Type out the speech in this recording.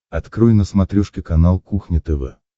открой на смотрешке канал кухня тв